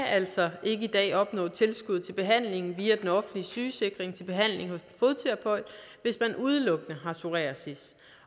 altså ikke i dag opnå tilskud til behandling via den offentlige sygesikring hvis man udelukkende har psoriasis